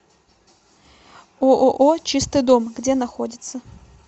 ооо чистый дом где находится